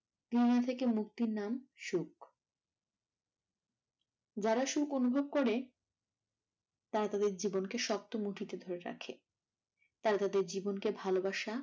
মুক্তির নাম সুখ। যারা সুখঅনুভব করে তারা তাদের জীবনকে সুক্ত মুঠিতে ধরে রাখে তারা তাদের জীবনকে ভালোবাসা